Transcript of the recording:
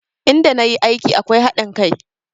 In da na yi aiki akwai haɗin kai